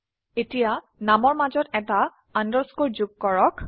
এতিয়া নামৰ মাজত এটা আন্ডাৰস্কোৰ যোগ কৰক